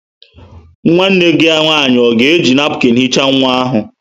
Nwanne gi nwanyi o ga-eji napụkịn hichaa nwa ahu?